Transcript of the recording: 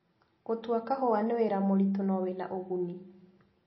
Gũtua kahũa nĩ wĩra mũritũ no wĩna úguni.